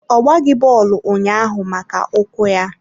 Ọ gbaghị bọọlụ ụnyaahụ maka ụkwụ ya.